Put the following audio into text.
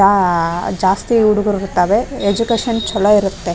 ಆ ಜಾಸ್ತಿ ಹುಡ್ಗ್ರು ಇರ್ತಾವೆ ಎಜ್ಯುಕೇಷನ್ ಚಲೋ ಇರುತ್ತೆ.